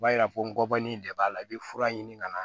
B'a yira ko n gɔbɔni de b'a la i be fura ɲini ka na